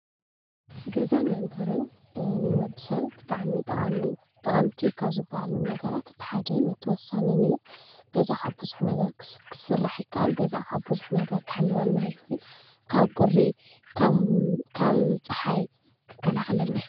ገዛን መንበሪን ንወዲሰብ ብጣዕሚ ጠቀምቲ ካብ ዝበሃሉ ነገራት እቲ ሓደን ኣቲ ወሳነን እዩ፡፡ ገዛ ካብ ቡዙሕ ነገራት ክስራሕ ይከአል፡፡ ገዛ ካብ ቡዙሕ ነገራት ክሕልወና ይክእል፡፡ ካብ ቁሪ ፣ ካብ ፀሓይ ኽከላከለልና ይክእል፡፡